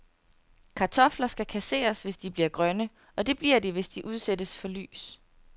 Kartofler skal kasseres, hvis de bliver grønne, og det bliver de, hvis de udsættes for lys.